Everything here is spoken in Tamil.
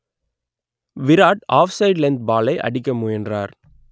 விராட் ஆப் சைட் லெந்த் பாலை அடிக்க முயன்றார்